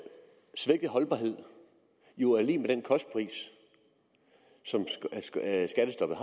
svækket holdbarhed jo er lig med den kostpris som skattestoppet